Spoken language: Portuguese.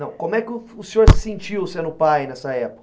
Não, como é que o senhor se sentiu sendo pai nessa época?